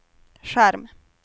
skärm